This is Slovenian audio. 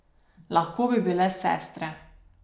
Lahko bi bile sestre.